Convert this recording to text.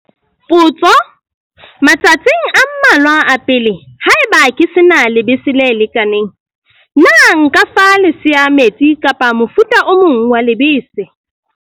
Potso- Matsatsing a mmalwa a pele, haeba ke se na lebese le lekaneng, na nka fa lesea metsi kapa mofuta o mong wa lebese?